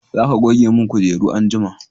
za ka goge mun kujeru anjima!